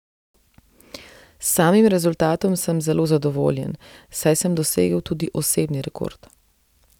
S samim rezultatom sem zelo zadovoljen, saj sem dosegel tudi osebni rekord.